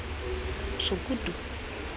sokutu